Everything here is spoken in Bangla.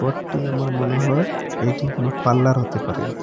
ঘরটি আমার মনে হয় এটি কোনো পার্লার হতে পারে।